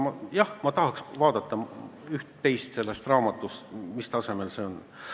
Jah, ma tahaks vaadata üht-teist sellest raamatust, et näha, mis tasemel see on.